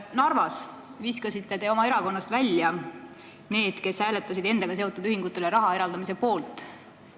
Narvas te viskasite oma erakonnast välja need, kes hääletasid endaga seotud ühingutele raha eraldamise poolt.